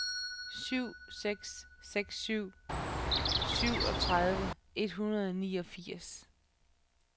syv seks seks syv syvogtredive et hundrede og niogfirs